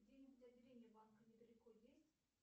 где нибудь отделение банка недалеко есть